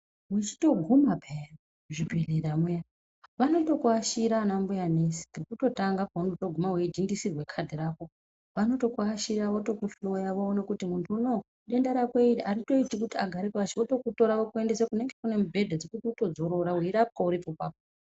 Wechitoguma pheya muzvibhedhlera muya, vanotokuashira anambuya nesi. Kekutotanga keunotoguma weidhindisirwe khadhi rako, vanotokuashira, votokuhloya voona kuti munthu unowu denda rake rineri aritoiti kuti agare pashi, votokutora votokuendesa kunenge kune mubhedha dzekuti utodzorora, weirapwa uripo apapo.